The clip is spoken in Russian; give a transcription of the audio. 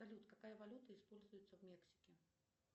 салют какая валюта используется в мексике